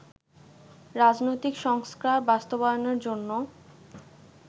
রাজনৈতিক সংস্কার বাস্তবায়নের জন্য